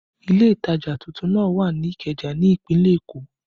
Ile ìtajà tuntun náà wà ní Ikeja ní ìpínlẹ̀ Èkó